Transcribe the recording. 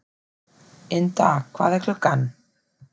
Ynda, hvað er klukkan?